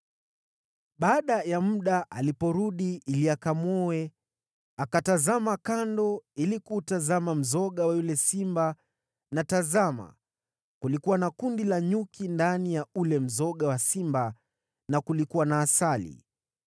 Baada ya muda aliporudi ili akamwoe, akatazama kando ili kuutazama mzoga wa yule simba, na tazama, kulikuwa na kundi la nyuki ndani ya ule mzoga wa simba na kulikuwa na asali;